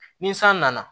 Ni san nana